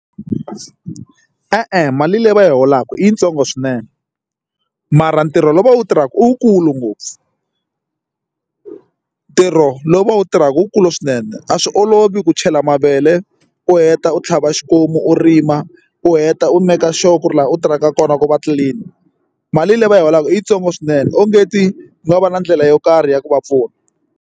E-e, mali leyi va yi holaka i yitsongo swinene mara ntirho lowu va wu tirhaka u wukulu ngopfu ntirho lowu va wu tirhaka wukulu swinene a swi olovi ku chela mavele u heta u tlhava xikomu u rima u heta u make sure ku ri laha u tirhaka kona ku va clean mali leyi va yi holaka i yitsongo swinene onge ti u nga va na ndlela yo karhi ya ku va pfuna.